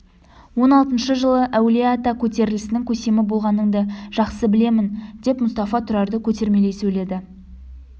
он алтыншы жылы әулие-ата көтерілісінің көсемі болғаныңды жақсы білемін деп мұстафа тұрарды көтермелей сөйледі